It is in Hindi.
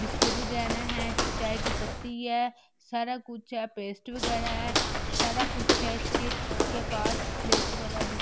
बिस्किट वगेना है चाय की पत्ती है सारा कुछ है पेस्ट वगैरह है ई सारा कुछ है इसके-इसके पास लेस वगैरह भी --